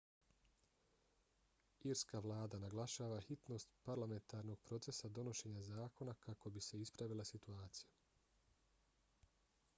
irska vlada naglašava hitnost parlamentarnog procesa donošenja zakona kako bi se ispravila situacija